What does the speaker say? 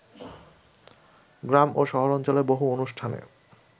গ্রাম ও শহরাঞ্চলে বহু অনুষ্ঠানে